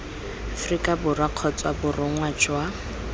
aforika borwa kgotsa borongwa jwa